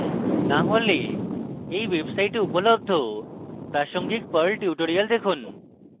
না হলে এই website উপলব্ধ প্রাসঙ্গিক perl tutorials দেখুন